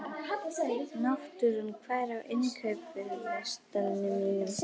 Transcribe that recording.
Náttúra, hvað er á innkaupalistanum mínum?